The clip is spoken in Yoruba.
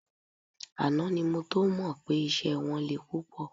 Àná ni mo tó mọ pé iṣẹ́ wọn le púpọ̀